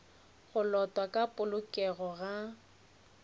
go lotwa ka polokego ga